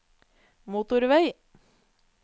motorvei